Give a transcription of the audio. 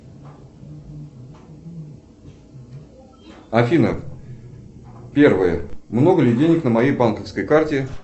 афина первое много ли денег на моей банковской карте